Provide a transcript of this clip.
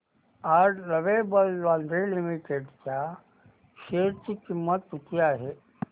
आज Lovable Lingerie Limited च्या share ची किंमत किती आहे